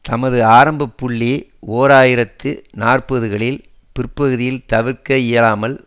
தனது ஆரம்ப புள்ளி ஓர் ஆயிரத்து நாற்பதுகளின் பிற்பகுதியில் தவிர்க்கவியலாமல்